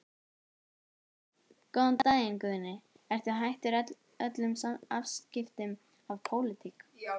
Andri Ólafsson: Góðan daginn Guðni, ert þú hættur öllum afskiptum af pólitík?